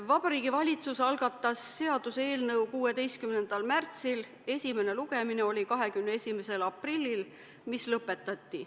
Vabariigi Valitsus algatas seaduseelnõu 16. märtsil, esimene lugemine oli 21. aprillil ja see lõpetati.